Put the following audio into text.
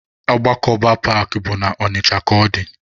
Agbakọba paakị bụ na Ọnịcha ka ọ dị.